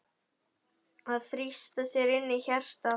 Að þrýsta sér inn í hjartað.